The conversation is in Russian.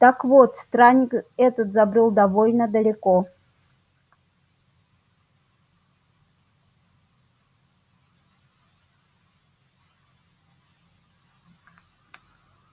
так вот странник этот забрёл довольно далеко